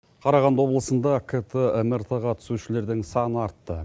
қарағанды облысында кт мрт ға түсушілердің саны артты